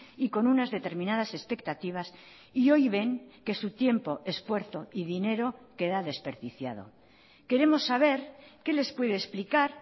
y con unas determinadas expectativas y hoy ven que su tiempo esfuerzo y dinero queda desperdiciado queremos saber qué les puede explicar